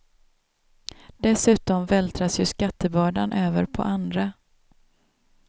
Dessutom vältras ju skattebördan över på andra.